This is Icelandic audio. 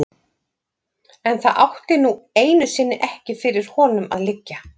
En það átti nú einu sinni ekki fyrir honum að liggja.